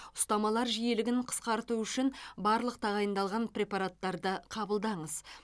ұстамалар жиілігін қысқарту үшін барлық тағайындалған препараттарды қабылдаңыз